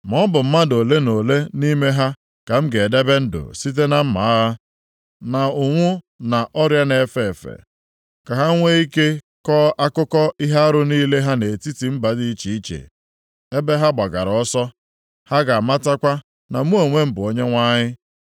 Ma ọ bụ mmadụ ole na ole nʼime ha ka m ga-edebe ndụ site na mma agha, na ụnwụ na ọrịa na-efe efe. Ka ha nwee ike kọọ akụkọ ihe arụ niile ha nʼetiti mba dị iche iche ebe ha gbagara ọsọ. Ha ga-amatakwa na mụ onwe m bụ Onyenwe anyị.”